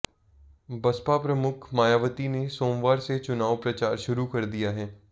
बसपा प्रमुख मायावती ने सोमवार से चुनाव प्रचार शुरू कर दिया है